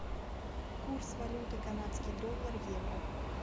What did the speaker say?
курс валюты канадский доллар евро